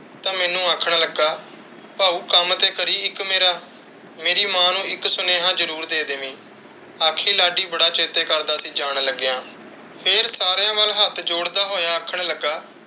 ਤੇ ਮੈਨੂੰ ਆਖਣ ਲੱਗਾ, ਭਾਊ ਕੱਮ ਤੇ ਕਰੀਂ ਇੱਕ ਮੇਰਾ, ਮੇਰੀ ਮਾਂ ਨੂੰ ਇੱਕ ਸੁਨੇਹਾ ਜ਼ਰੂਰ ਦੇ ਦੈਵੀ, ਆਖੀਂ ਲਾਡੀ ਬੜਾ ਚੇਤੇ ਕਰਦਾ ਸੀ ਜਾਣ ਲੱਗਿਆ। ਫਿਰ ਸਾਰੀਆਂ ਵੱਲ ਹੱਥ ਜੋੜਦਾ ਹੋਇਆ ਆਖਣ ਲੱਗਾ,